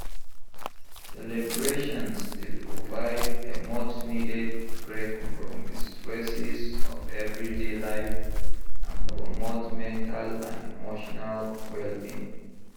Celebrations dey provide a much-needed break from di stresses of everyday life and promote mental and emotional well-being.